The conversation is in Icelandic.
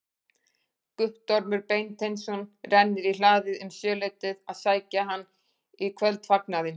Guttormur Beinteinsson rennir í hlaðið um sjöleytið að sækja hann í kvöldfagnaðinn.